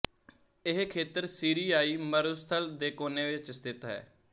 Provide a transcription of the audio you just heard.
ਇਹ ਖੇਤਰ ਸੀਰੀਆਈ ਮਰੁਸਥਲ ਦੇ ਕੋਨੇ ਵਿੱਚ ਸਥਿਤ ਹੈ